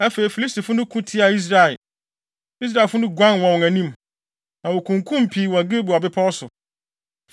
Afei, Filistifo no ko tiaa Israel. Israelfo no guanee wɔ wɔn anim, na wokunkum pii wɔ Gilboa bepɔw so.